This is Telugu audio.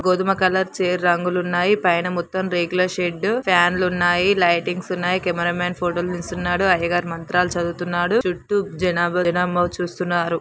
గోదుమ కలర్ చైర్ రంగులు ఉన్నాయి పైన మొత్తం రేకుల షెడ్ ఫ్యాన్ లు ఉన్నాయి లైటింగ్ స్ ఉన్నాయి కెమెరా మ్యాన్ ఫోటో లు తీస్తున్నాడు. అయ్యగారు మంత్రా లు చదువుతున్నాడు చుట్టూ జనాబా జనాంబ చూస్తున్నారు.